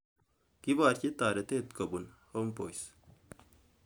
Koborjin taretet kobun Homeboyz.